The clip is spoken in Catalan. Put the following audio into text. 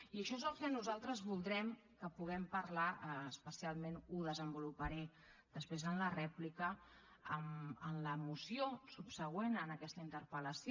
i això és el que nosaltres voldrem que puguem parlar especialment ho desenvoluparé després en la rèplica en la moció subsegüent a aquesta interpel·lació